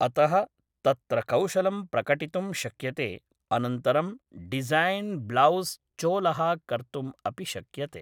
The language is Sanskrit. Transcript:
अतः तत्र कौशलं प्रकटितुं शक्यते अनन्तरं डिज़ैन् ब्लौस् चोलः कर्तुम् अपि शक्यते